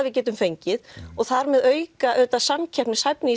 við getum fengið og þar með auka samkeppnishæfni